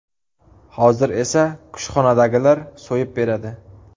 Hozir esa kushxonadagilar so‘yib beradi.